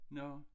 Nå